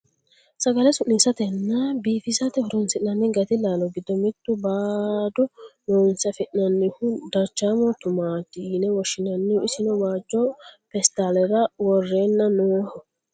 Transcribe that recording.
sagale su'niissatenna biifisate horonsi'nanni gati laalo giddo mittu baado loonse afi'nanniho darchaamo tumaati yine woshshinanniho isino waajjo peestaalera worreenna nooho